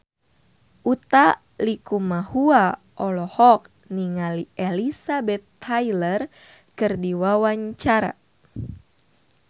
Utha Likumahua olohok ningali Elizabeth Taylor keur diwawancara